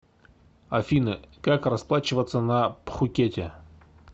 афина как расплачиваться на пхукете